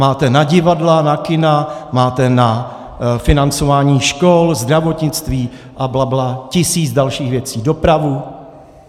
Máte na divadla, na kina, máte na financování škol, zdravotnictví a blabla, tisíc dalších věcí, dopravu.